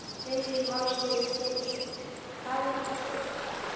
Lillý Valgerður Pétursdóttir: Hvað er þetta stórt?